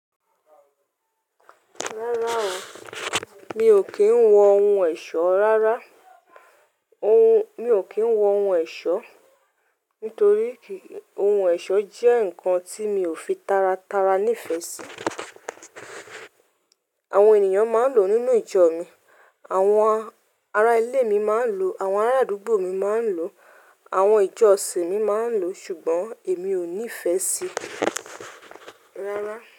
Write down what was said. Rárá o, mi ò kí ń wọ ohun ẹ̀ṣọ́ rárá. Ohun, mi ò kí ń wọ ohun ẹ̀ṣọ́, nítorí kì, ohun ẹ̀ṣọ́ jẹ́ nǹkan tí mi ò fi tára tára ní ìfẹ́ sí. Àwọn ènìyàn máa ń lò ó nínú ìjọ mi, àwọn ará ilé mi máa ń lò ó, àwọn ará àdúgbò mi máa ń lò ó, àwọn ìjọ òṣèré mi máa ń lò ó, ṣùgbọ́n èmi ò ní ìfẹ́ sí i rárá.